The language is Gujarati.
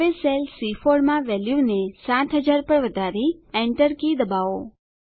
હવે સેલ સી4 માં વેલ્યુને 7000 પર વધારી Enter કી દબાવો